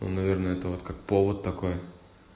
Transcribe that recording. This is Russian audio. он наверное это вот как повод такой